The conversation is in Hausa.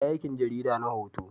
Ta yi aikin jarida na hoto